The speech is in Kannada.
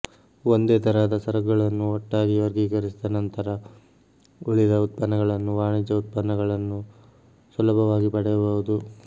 ಒಂದೇ ತರಹದ ಸರಕುಗಳನ್ನು ಒಟ್ಟಾಗಿ ವರ್ಗೀಕರಿಸಿದ ನಂತರ ಉಳಿದ ಉತ್ಪನ್ನಗಳನ್ನು ವಾಣಿಜ್ಯ ಉತ್ಪನ್ನಗಳನ್ನು ಸುಲಭವಾಗಿ ಪಡೆಯಬಹುದು